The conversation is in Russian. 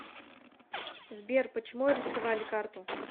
сбер почему арестовали карту